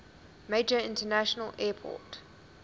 major international airport